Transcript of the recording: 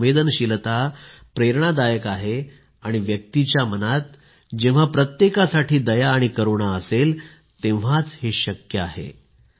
ही संवेदनशीलता प्रेरणादायक आहे आणि व्यक्तीच्या मनात जेव्हा प्रत्येकासाठी दया आणि करुणा असेल तेव्हाच हे शक्य आहे